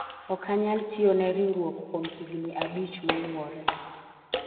ok anyal tiyo ne riwruok kuom higni abich moluwore